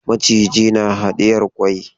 Maciji na hadiyar kwai.